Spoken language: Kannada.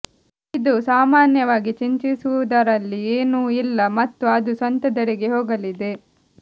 ಇದು ಸಾಮಾನ್ಯವಾಗಿ ಚಿಂತಿಸುವುದರಲ್ಲಿ ಏನೂ ಇಲ್ಲ ಮತ್ತು ಅದು ಸ್ವಂತದೆಡೆಗೆ ಹೋಗಲಿದೆ